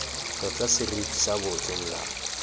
tlotla seriti sa botho molao